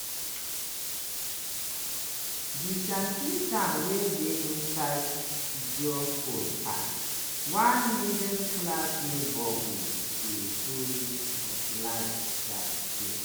di shanty-town wey dey inside jodhpur park – one middle-class neighbourhood – dey full of life dat day.